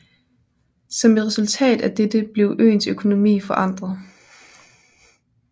Som et resultat af dette blev øens økonomi forandret